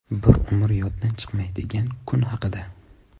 Bir umr yoddan chiqmaydigan kun haqida.